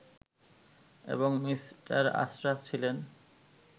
এবং মি. আশরাফ ছিলেন